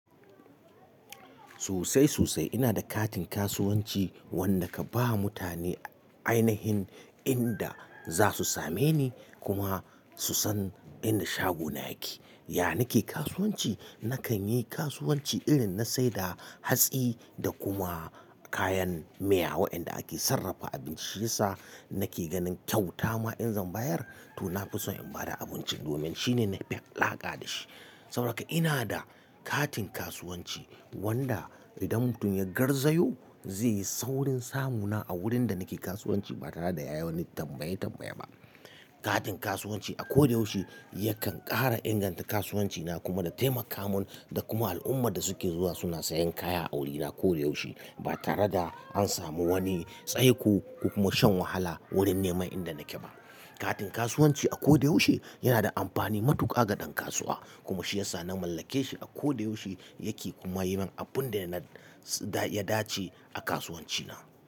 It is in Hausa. Sosai, sosai. Ina da katin kasuwanci wanda ka ba mutane ainihin inda za su same ni kuma su san inda shago na yake. Ya nake kasuwanci, nakan yi kasuwanci irin na saida hatsi da kuma kayan miya waɗanda ake sarrafa abincinsa. Nake ganin kyauta ma in zan bayar to na fi son in bada abincin domin shine na fi laƙa da shi. Saboda haka ina da katin kasuwanci wanda idan mutum ya garzayo zai yi saurin samu na a wurin da nake kasuwanci ba tare da ya yi wani tambaye tambaye ba. Katin kasuwanci a koda yaushe yakan ƙara inganta kasuwanci na kuma da taimaka mun da kuma al'ummar da suke zuwa suna sayan kaya a wurina ko da yaushe ba tare da an samu wani tsaiko kuma shan wahala wurin neman inda nake ba. Katin kasuwanci a ko da yaushe yana da amfani matuƙa ga ɗan kasuwa kuma shi ya sa na mallake shi a ko da yaushe yake kuma yi min abun da ya dace a kasuwanci na.